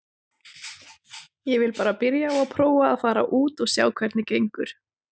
Ég vil bara byrja á að prófa að fara út og sjá hvernig gengur.